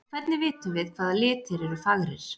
En hvernig vitum við, hvaða litir eru fagrir?